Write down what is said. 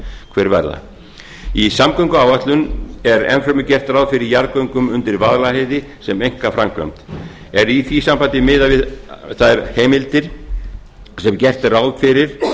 hver verða í samgönguáætlun er enn fremur gert ráð fyrir jarðgöngum undir vaðlaheiði sem einkaframkvæmd er í því sambandi miðað við þær heimildir sem gert er ráð fyrir